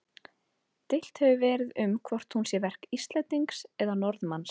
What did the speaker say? Deilt hefur verið um hvort hún sé verk Íslendings eða Norðmanns.